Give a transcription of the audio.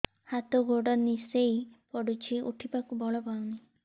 ହାତ ଗୋଡ ନିସେଇ ପଡୁଛି ଉଠିବାକୁ ବଳ ପାଉନି